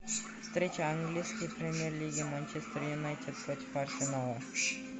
встреча английской премьер лиги манчестер юнайтед против арсенала